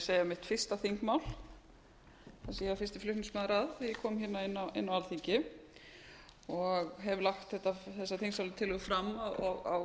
segja mitt fyrsta þingmál sem ég var fyrsti flutningsmaður að þegar ég kom hérna inn á alþingi og hef lagt þessa þingsályktunartillögu fram á